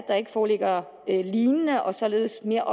der ikke foreligger lignende og således mere